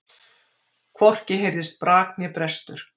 Hvorki heyrðist brak né brestur.